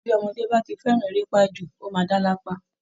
Bí ọmọdé bá ti fẹ́ran erépa jù ó máa dá lápá